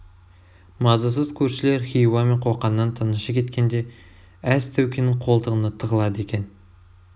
мазасыз көршілер хиуа мен қоқаннан тынышы кеткенде әз тәукенің қолтығына тығылады екен